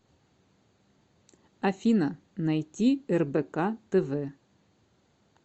афина найти рбк тв